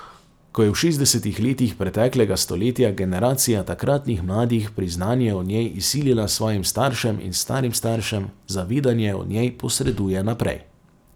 Ko je v šestdesetih letih preteklega stoletja generacija takratnih mladih priznanje o njej izsilila svojim staršem in starim staršem, zavedanje o njej posreduje naprej.